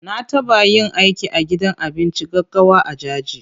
Na taɓa yin aiki a gidan abinci gaggawa a Jaji.